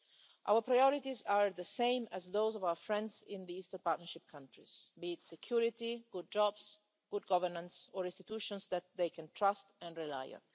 Our priorities are the same as those of our friends in the Eastern Partnership countries, be it security, good jobs, good governance or institutions that they can trust and rely on.